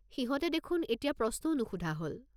সিহঁতে দেখোন এতিয়া প্ৰশ্নও নুসুধা হ'ল।